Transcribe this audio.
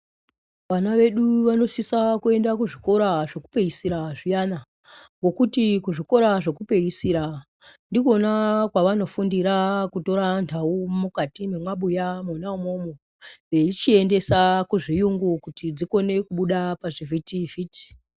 Vana vedu vanosisa kuenda kuzvikora zvekupedzisira zviyana ngokuti kuzvikora zvekupedzisira ndikona kwavanofundira kutora nhau mukati mwemabuya mwona umwomwo veichiendesa kuzviyungu kuti dzikone kubuda pazvivhitivhiti.